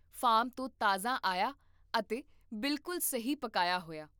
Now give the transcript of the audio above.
farm ਤੋਂ ਤਾਜ਼ਾ ਆਇਆ ਅਤੇ ਬਿਲਕੁਲ ਸਹੀ ਪਕਾਇਆ ਹੋਇਆ